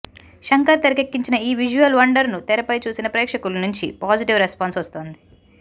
శంకర్ తెరకెక్కించిన ఈ విజువల్ వండర్ను తెరపై చూసిన ప్రేక్షకుల నుంచి పాజిటివ్ రెస్పాన్స్ వస్తోంది